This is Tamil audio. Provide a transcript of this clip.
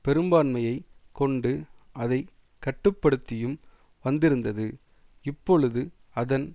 பெரும்பான்மையைக் கொண்டு அதை கட்டுப்படுத்தியும் வந்திருந்தது இப்பொழுது அதன்